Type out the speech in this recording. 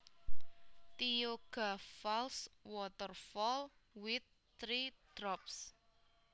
Tioga Falls waterfall with three drops